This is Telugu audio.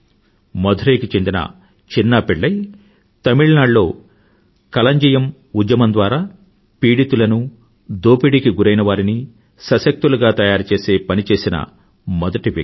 మధురై కు చెందిన చిన్నా పిళ్ళై తమిళనాడులో కలంజియమ్ ఉద్యమం ద్వారా పీడితులను దోపిడీకి గురైనవారిని సశక్తులుగా తయారుచేసే పని చేసిన మొదటి వ్యక్తి